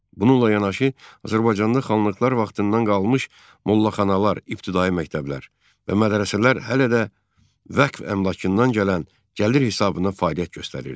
Bununla yanaşı, Azərbaycanda xanlıqlar vaxtından qalmış mollaxanalar, ibtidai məktəblər və mədrəsələr hələ də vəqf əmlakından gələn gəlir hesabına fəaliyyət göstərirdi.